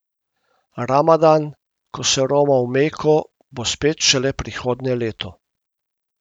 Ramadan, ko se roma v Meko, bo spet šele prihodnje leto.